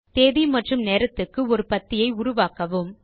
தேதி மற்றும் நேரத்துக்கு ஒரு பத்தியை உருவாக்கவும்